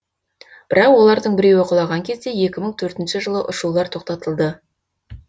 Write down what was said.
бірақ олардың біреуі құлаған кезде екі мың төртінші жылы ұшулар тоқтатылды